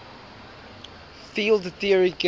field theory gives